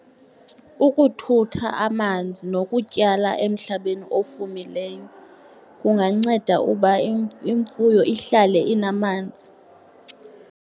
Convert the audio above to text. Ukuthutha amanzi nokutyala emhlabeni ofumileyo kunganceda uba imfuyo ihlale inamanzi.